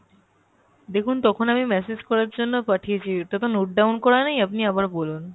দেখুন তখন আমি message করার জন্য পাঠিয়েছি এটা তো note down করা নেই আপনি আবার বলুন